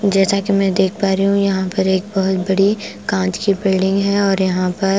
जैसा कि मैं देख पा रही हूं यहां पर एक बहुत बड़ी कांच की बिल्डिंग है और यहां पर--